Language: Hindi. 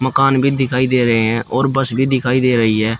मकान भी दिखाई दे रहे है और बस भी दिखाई दे रहीं है।